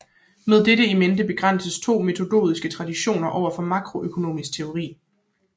Med dette in mente afgrænses to metodologiske traditioner indenfor makroøkonomisk teori